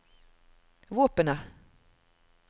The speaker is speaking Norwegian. våpenet